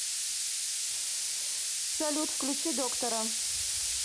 салют включи доктора